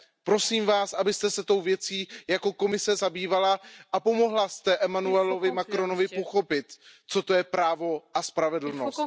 Prosím Vás, abyste se tou věcí v rámci Komise zabývala a pomohla jste Emmanuelovi Macronovi pochopit, co to je právo a spravedlnost.